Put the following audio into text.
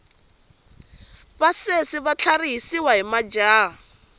vasesi va tlharihisiwa hi majaha